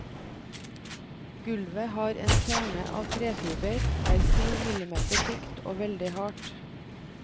Gulvet har en kjerne av trefiber, er syv millimeter tykt og veldig hardt.